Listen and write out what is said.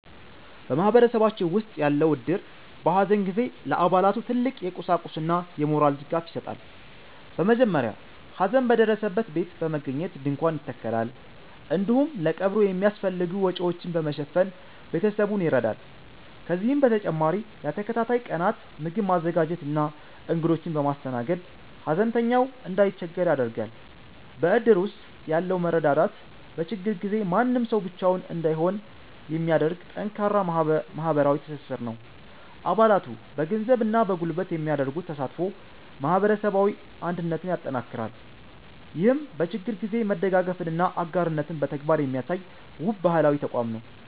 በማህበረሰባችን ውስጥ ያለው እድር፣ በሐዘን ጊዜ ለአባላቱ ትልቅ የቁሳቁስና የሞራል ድጋፍ ይሰጣል። በመጀመሪያ ሐዘን በደረሰበት ቤት በመገኘት ድንኳን ይተከላል፤ እንዲሁም ለቀብሩ የሚያስፈልጉ ወጪዎችን በመሸፈን ቤተሰቡን ይረዳል። ከዚህም በተጨማሪ ለተከታታይ ቀናት ምግብ በማዘጋጀትና እንግዶችን በማስተናገድ፣ ሐዘንተኛው እንዳይቸገር ያደርጋል። በእድር ውስጥ ያለው መረዳዳት፣ በችግር ጊዜ ማንም ሰው ብቻውን እንዳይሆን የሚያደርግ ጠንካራ ማህበራዊ ትስስር ነው። አባላቱ በገንዘብና በጉልበት የሚያደርጉት ተሳትፎ ማህበረሰባዊ አንድነትን ያጠናክራል። ይህም በችግር ጊዜ መደጋገፍንና አጋርነትን በተግባር የሚያሳይ፣ ውብ ባህላዊ ተቋም ነው።